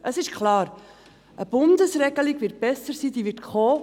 Es ist klar, dass eine Bundesregelung besser sein wird, eine solche wird kommen.